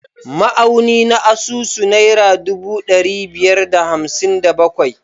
Ma’auni na asusu naira ɗubu ɗari biyar da hamsin da bakwai